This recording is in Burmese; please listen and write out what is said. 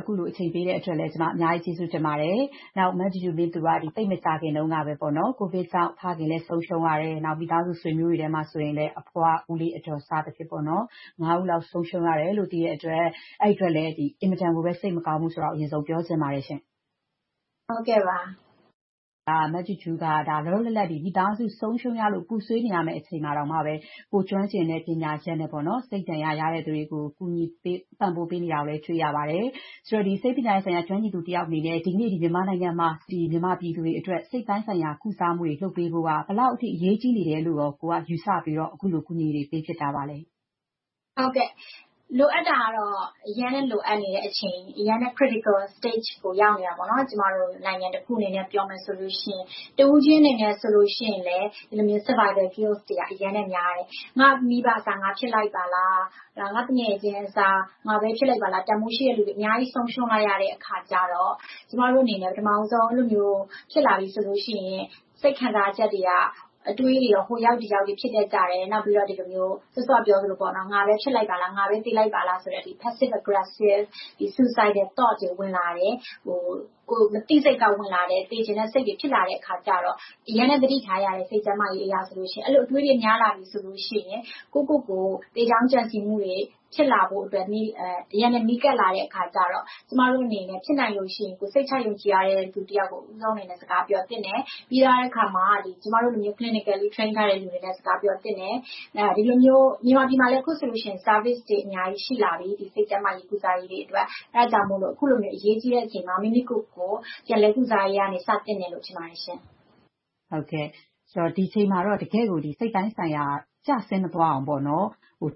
အခုလို အချိန်ပေးပြီးတော့ VOA အတွက် ဖြေကြားပေးတဲ့အတွက် အများကြီးကျေးဇူးတင်ပါတယ်။ မဂျူးဂျူးမြင့်သူက သိပ်မကြာသေးခင်ကပဲ ကိုဗစ်ကြောင့် ဖခင်ဆုံးရှုံးရတယ်။ နောက် မိသားစုဆွေမျိုးတွေထဲမှာဆိုလည်း အဖွား၊ ဦးလေး၊ အဒေါ် စသည်ဖြင့် ဦးလောက် ဆုံးရှုံးရတယ်လို့ သိရတဲ့အတွက် အဲဒီအတွက်လည်း အင်မတန်ကိုမှ စိတ်မကောင်းဘူးဆိုတာကိုလည်း ဦးဆုံးပြောချင်ပါတယ်ရှင့်။ မဂျူးဂျူးက လောလောလတ်လတ် မိသားစုတွေ ဆုံးရှုံးရလို့ ပူဆွေနေရမယ့် အခြေအနေမှာတောင် ကိုယ်ကျွမ်းကျင်တဲ့ ပညာရပ်နဲ့ စိတ်ဒဏ်ရာရတဲ့ လူတွေကို ကူညီပံ့ပိုးပေးနေတာကိုလည်း တွေ့ရပါတယ်။ ဒီဆေးပညာရပ်ဆိုင်ရာ ကျွမ်းကျင်သူတစ်ယောက်အနေနဲ့ ဒီနေ့ မြန်မာနိုင်ငံမှာ မြန်မာပြည်သူတွေအတွက် စိတ်ပိုင်းဆိုင်ရာ ကုစားမှုတွေ လုပ်ပေးဖို့က ဘယ်လောက်အထိ အရေးကြီးတယ်လို့ ကိုယ်ကယူဆပြီးတော့ အခုလိုကူညီပေးဖြစ်နေတာလဲ။ ဖြေ ။ ။ လိုအပ်တာတော့ အရမ်းလိုအပ်နေတဲ့အချိန် - အရမ်းလည်း Critical Stage ကို ရောက်နေတယ်။ နိုင်ငံတစ်ခုအနေနဲ့ ပြောရမယ်ဆိုရင် တစ်ဦးချင်းအနေနဲ့လည်း Survival Guilt တွေက အရမ်းများတယ်။ ငါ့မိဘအစား ငါဖြစ်လိုက်ပါလား။ ငါ့သူငယ်ချင်းအစား ငါပဲဖြစ်လိုက်ပါလား။ တန်းဖိုးရှိတဲ့လူတွေ အများကြီးဆုံးရှုံးလိုက်ရတဲ့အခါကြတော့ ကျမတို့အနေနဲ့ ပထမဦးဆုံး အဲဒီလိုဖြစ်လာပြီဆိုရင် စိတ်ခံစားချက်တွေက အတွေးတွေက ဟိုရောက်ဒီရောက်ဖြစ်တတ်ကြတယ်။ နောက်ပြီးတော့ အဲဒီလိုမျိုး စောစောကပြောသလို ငါပဲဖြစ်လိုက်ပါလား။ ငါပဲသေလိုက်ပါလားဆိုတဲ့ Passive Aggressive Suicidal Thoughts တွေ ဝင်လာတယ်။ မသိစိတ်ကနေ သေချင်တဲ့စိတ်တွေ ဝင်လာတယ်၊ ဖြစ်လာတဲ့အခါကြတော့ အရမ်းလည်းသတိထားရတယ်။ စိတ်ကျန်းမာရေးအတွက် အဲဒီလို အတွေးတွေ များလာပြီဆိုရင် ကိုယ့်ကိုယ်ကို သေကြောင်းကြံစည်းမှုတွေ ဖြစ်လာဖို့အတွက်၊ အရမ်းလည်းနီးကပ်လာတဲ့အခါကြတော့ ကျမတို့အနေနဲ့ ဖြစ်နိုင်လို့ရှိရင် ကိုယ်စိတ်ချယုံကြည်ရတဲ့ လူတစ်ယောက်ကို ဦးဆုံးအနေနဲ့ စကားပြောသင့်တယ်။ ပြီးသွားတဲ့အခါမှာ ကျမတို့လို Clinically Train ထားတဲ့ လူတွေနဲ့လည်း စကားပြောသင့်တယ်။ မြန်မာပြည်မှာလည်း အခုဆိုရင် Services တွေ အများကြီးရှိလာပြီ။ စိတ်ကျန်းမာရေးကုစားရေဒအတွက်။ အဲဒါကြောင့်မို့ အခုလိုမျိုး အရေးကြီးတဲ့အချိန်မှာ မိမိကိုယ်ကိုယ် ပြန်လည်ကုစားရေးကနေ စသင့်တယ်လို့ ထင်ပါတယ်ရှင့်။ မေး ။ ။ ဒီအချိန်မှာတော့ တကယ့်ကို စိတ်ပိုင်းဆိုင်ရာ ကျဆင်းမသွားအောင်